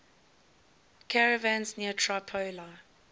caravans near tripoli